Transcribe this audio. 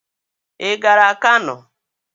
Ị gara Kano?